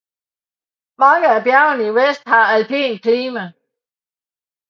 Mange af bjergene i vest har alpint klima